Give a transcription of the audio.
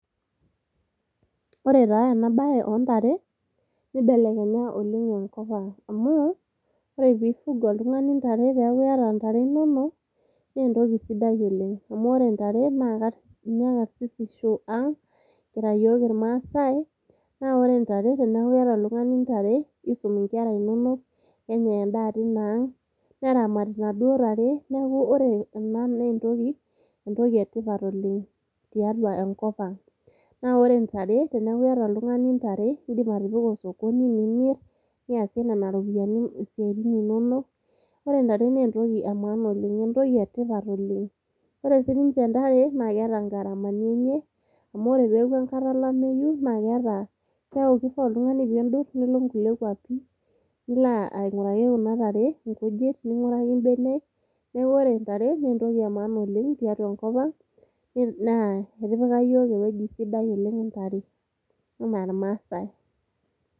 ore taa ena baye ontare nibelekenya oleng enkop ang amu ore piifuga oltung'ani ntare peeku iyata intare inonok naa entoki sidai oleng amu ore ntare naa ninye karsisisho ang kira yiok irmasae naa ore intare teneeku keeta oltung'ani intare isum inkera inonok nenyai endaa tina ang neramati inaduoo tare neeku ore ena naa entoki, entoki etipat oleng tiatua enkop ang naa wore intare teniaku iyata oltung'ani intare indim atipika osokoni nimirr niasie nena ropiyiani isiaitin inonok ore intare naa entoki e maana oleng entoki etipat oleng ore sininche intare naa keeta ingaramani enye amu ore peeku enkata olameyu naa keeta keaku kifaa oltung'ani pindurr nilo inkulie kuapi nilo aing'uraki kuna tare inkujit ning'uraki imbenek neeku ore intare naa entoki e maana oleng tiatua enkop ang naa etipika yiok ewueji sidai oleng intare anaa irmasae.